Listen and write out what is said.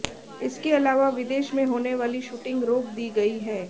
इसके अलावा विदेश में होने वाली शूटिंग रोक दी गई है